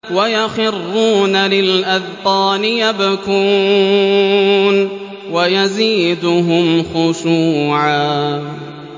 وَيَخِرُّونَ لِلْأَذْقَانِ يَبْكُونَ وَيَزِيدُهُمْ خُشُوعًا ۩